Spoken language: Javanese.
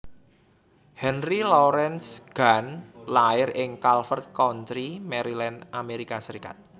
Henry Laurence Gantt lair ing Calvert County Maryland Amerika Serikat